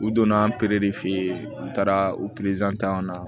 U donna an de fe yen u taara u ta yan nɔ